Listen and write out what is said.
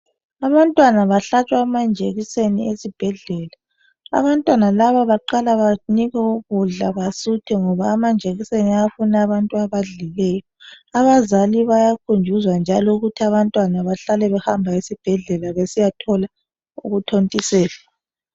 Abantwana bahlatshwa amajekiseni esibhedlela. Abantwana laba baqala banikwe ukudla basuthe ngoba amajekiseni ayafuna abantu abadlileyo. Abazali bayakhunjuzwa njalo ukuthi abantwana bahlale behamba esibhedlela besiyathola ukuthontiselwa.